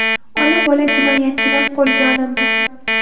Ona-bola jinoyatchilar qo‘lga olindi.